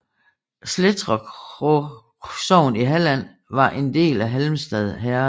Slættåkra sogn i Halland var en del af Halmstad herred